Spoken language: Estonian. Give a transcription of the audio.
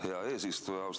Hea eesistuja!